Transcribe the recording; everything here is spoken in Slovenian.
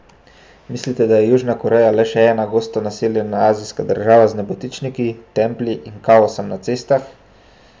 Mislite, da je Južna Koreja le še ena gosto naseljena azijska država z nebotičniki, templji in kaosom na cestah?